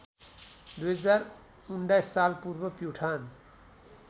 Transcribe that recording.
२०१९ सालपूर्व प्युठान